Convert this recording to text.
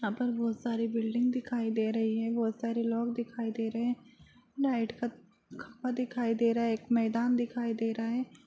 यहाँ पर बहुत सारी बिल्डिंग दिखाई दे रही है बहुत सारे लोग दिखाई दे रहे हैं लाइट का खंभा दिखाई दे रहा है एक मैदान दिखाई दे रहा है।